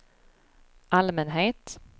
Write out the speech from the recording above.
allmänhet